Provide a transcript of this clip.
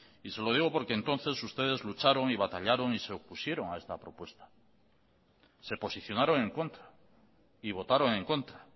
y se lo digo porque entonces ustedes lucharon y batallaron y se opusieron a esta propuesta se posicionaron en contra y votaron en contra